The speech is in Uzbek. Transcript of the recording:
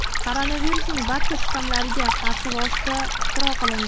Koronavirusning barcha shtammlariga qarshi vosita ixtiro qilindi.